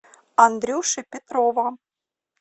андрюши петрова